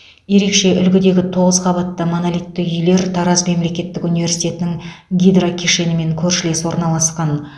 ерекше үлгідегі тоғыз қабатты монолитті үйлер тараз мемлекеттік университетінің гидро кешенімен көршілес орналасқан